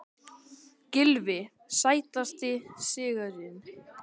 Gylfi Sætasti sigurinn?